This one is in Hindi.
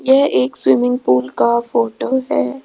यह एक स्विमिंग पूल का फोटो है।